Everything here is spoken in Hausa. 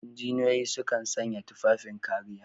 Injiniyoyi su kan sanya tufafin kariya.